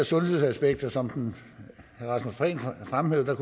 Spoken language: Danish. sundhedsaspekter som prehn fremhævede